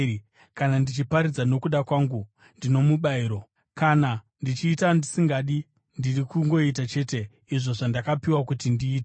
Kana ndichiparidza nokuda kwangu, ndino mubayiro; kana ndichiita ndisingadi, ndiri kungoita chete izvo zvandakapiwa kuti ndiite.